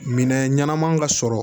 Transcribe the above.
Minɛn ɲɛnama ka sɔrɔ